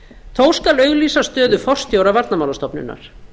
þó skal auglýsa stöðu forstjóra varnarmálastofnunar